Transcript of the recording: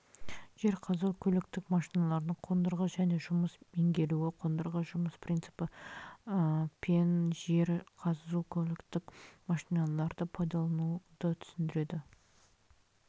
жер қазу көліктік машиналардың қондырғы және жұмыс меңгеруі қондырғы жұмыс принципі пен жер қазу көліктік машиналарды пайдалануды түсіндіреді